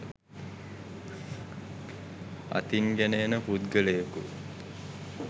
අතින්ගෙන එන පුද්ගලයෙකු